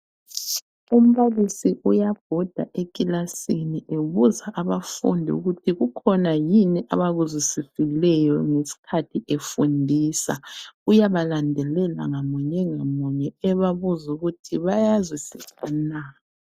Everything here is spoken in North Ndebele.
Umbalisi uyabhoda ekilasini ebuza abafundi ukuthi kukhona yini abakuzwisisileyo ngesikhathi efundisa. Uyabalandelela ngamunye ngamunye ebabuza ukuthi bayazwisisa na.